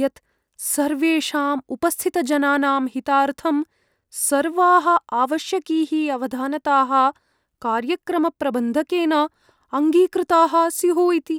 यत् सर्वेषाम् उपस्थितजनानां हितार्थं सर्वाः आवश्यकीः अवधानताः कार्यक्रमप्रबन्धकेन अङ्गीकृताः स्युः इति।